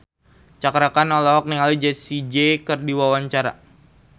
Cakra Khan olohok ningali Jessie J keur diwawancara